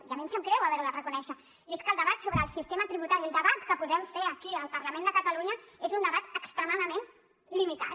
i a mi em sap greu haver la de reconèixer i és que el debat sobre el sistema tributari el debat que podem fer aquí al parlament de catalunya és un debat extremadament limitat